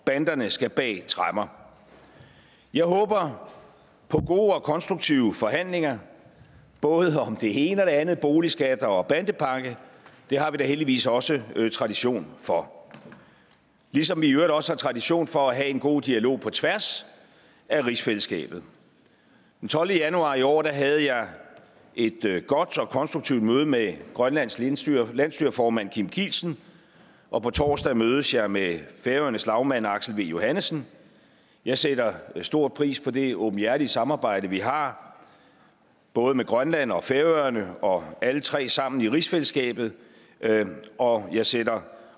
banderne skal bag tremmer jeg håber på gode og konstruktive forhandlinger både om det ene og det andet boligskatter og bandepakke det har vi da heldigvis også tradition for ligesom vi i øvrigt også har tradition for at have en god dialog på tværs af rigsfællesskabet den tolvte januar i år havde jeg et godt og konstruktivt møde med grønlands landsstyreformand landsstyreformand kim kielsen og på torsdag mødes jeg med færøernes lagmand aksel v johannesen jeg sætter stor pris på det åbenhjertige samarbejde vi har både med grønland og færøerne og alle tre sammen i rigsfællesskabet og jeg sætter